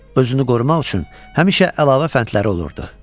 Özünü qorumaq üçün həmişə əlavə fəndləri olurdu.